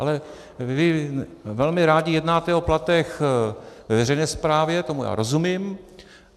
Ale vy velmi rádi jednáte o platech ve veřejné správě, tomu já rozumím.